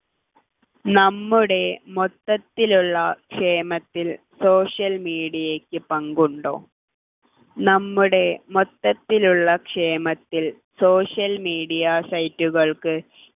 നമ്മുടെ മൊത്തത്തിലുള്ള ക്ഷേമത്തിൽ social media യ്ക്ക് പങ്കുണ്ടോ നമ്മുടെ മൊത്തത്തിലുള്ള ക്ഷേമത്തിൽ social media site കൾക്ക്